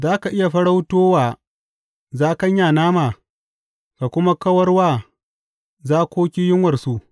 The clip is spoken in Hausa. Za ka iya farauto wa zakanya nama, ka kuma kawar wa zakoki yunwarsu.